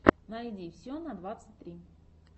найди все на двадцать три